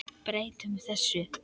Breytum þessu!